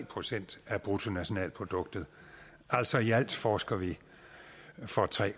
procent af bruttonationalproduktet altså i alt forsker vi for tre